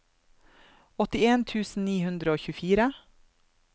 åttien tusen ni hundre og tjuefire